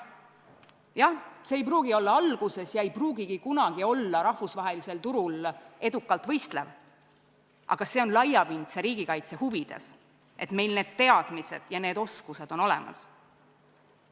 Jah, see ei pruugi olla alguses ja üldse mitte kunagi rahvusvahelisel turul edukalt võistlev, aga see on laiapindse riigikaitse huvides, et meil need teadmised ja need oskused on olemas.